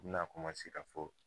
I bina ka fɔ